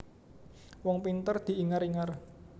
Wong pinter diingar ingar